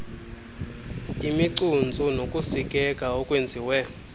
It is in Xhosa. imicuntsu nokusikeka okwenziwe